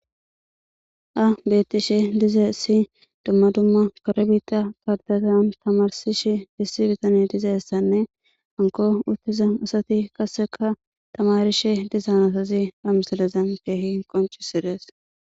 A bettishe dizee issi dumma dumma kare biita kardatan tamarsish dissi bitani dizeessanne hanko uttiza asati qassikka tamarishe dizan asazi a misalazan ke ehi qonci sees.